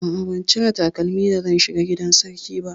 A'a, ban cire takalmi da zan shiga gidan sarki ba.